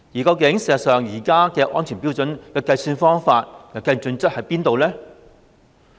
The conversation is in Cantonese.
實際上，現時安全標準的計算方法有何準則呢？